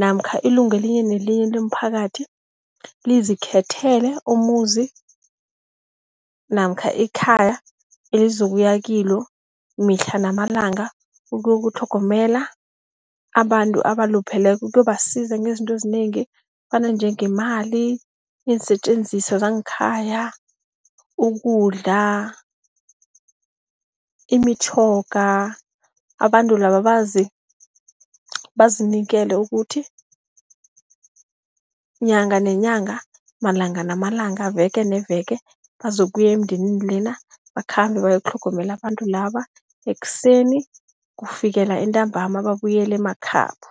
namkha ilunga elinye nelinye lomphakathi, lizikhethekile umuzi namkha ikhaya elizokuya kilo mihla namalanga, ukuyotlhogomela abantu abalupheleko. Ukuyobasiza ngezinto ezinengi ezifana njengemali, iinsetjenziswa zangekhaya, ukudla, imitjhoga. Abantu laba bazinikele ukuthi inyanga nenyanga, malanga namalanga veke neveke, bazokuya emndenini lena bakhambe bayokutlhogomela abantu laba, ekuseni kufikela entambama babuyele emakhabo.